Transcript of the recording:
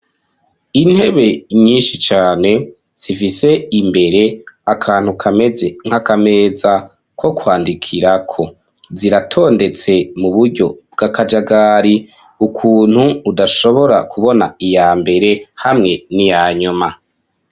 Intebe nyinshi cane zifise imbere akantu kameze nk'akameza ko kwandikirako, ziratondetse mu buryo bwakajagari, ukuntu udashobora kubona iya mbere hamwe n'iyanyuma.